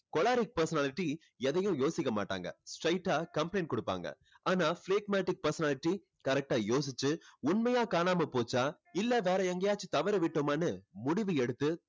choleric personality எதையும் யோசிக்க மாட்டாங்க. straight டா complaint கொடுப்பாங்க. ஆனா phlegmatic personality correct ஆ யோசிச்சு உண்மையா காணாம போச்சா இல்ல வேற எங்கேயாச்சும் தவறவிட்டோமான்னு முடிவு எடுத்து